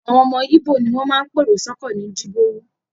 Àwọn ọmọ Íbò ní máa ń pèrò sọ́kọ̀ ní Jibowu